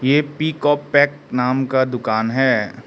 ये पिक और पैक नाम का दुकान है।